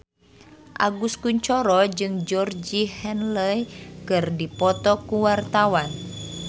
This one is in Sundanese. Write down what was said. Agus Kuncoro jeung Georgie Henley keur dipoto ku wartawan